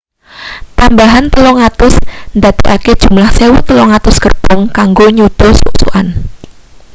tambahan 300 ndadekake jumlah 1,300 gerbong kanggo nyuda suk-sukan